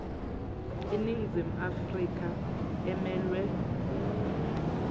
iningizimu afrika emelwe